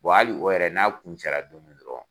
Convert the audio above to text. Wa hali o yɛrɛ n'a kuncɛla don min dɔrɔn